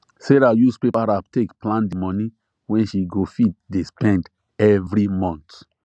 sarah use paper wrap take plan the money wey she go fit dey spend every month